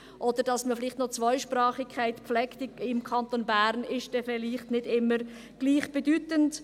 Auch dass man im Kanton Bern noch die Zweisprachigkeit pflegt, ist vielleicht nicht immer gleichbedeutend.